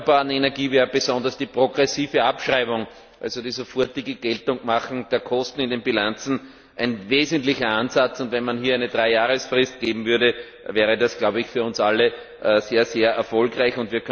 Bei der erneuerbaren Energie wäre besonders die progressive Abschreibung, also die sofortige Geltendmachung der Kosten in den Bilanzen, ein wesentlicher Ansatz. Wenn man hier eine Dreijahresfrist geben würde, wäre das für uns alle sehr erfolgreich.